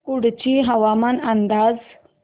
कुडची हवामान अंदाज